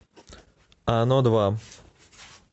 оно два